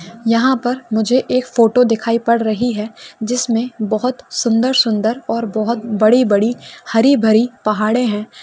यहाँ पर मुझे एक फोटो दिखाई पड़ रही है जिस में बोहोत सुन्दर शुन्दर और बोहोत बड़ी बड़ी हरी भरी पहाडे हैं।